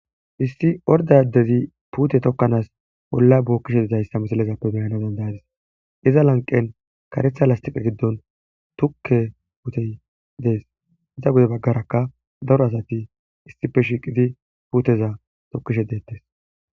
issi orda adezi puute tokkanaas holla bookkishe dizayssa misalezappe beyana dandayadis iza lanqen karetha lastiqa giddon tukke wutey dees iza gode baggaraka daro asati issippe shiiqidi puuteza tokkishe deettes